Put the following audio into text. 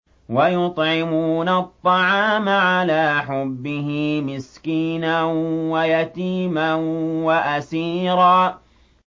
وَيُطْعِمُونَ الطَّعَامَ عَلَىٰ حُبِّهِ مِسْكِينًا وَيَتِيمًا وَأَسِيرًا